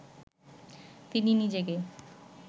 তিনি নিজেকে